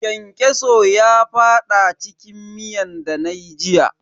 Kyankyaso ya fada cikin miyan dana yi jiya.